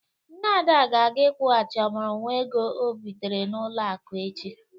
Nne Ada ga-aga ịkwụghachi ọmụrụ nwa ego ọ bitere n'ụlọ akụ echi.